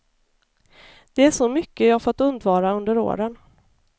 Det är så mycket jag fått undvara under åren.